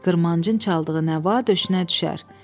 Qırmancın çaldığı nəva döşünə düşər.